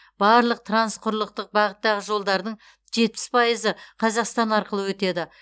барлық трансқұрлықтық бағыттағы жолдардың пайызы қазақстан арқылы өтеді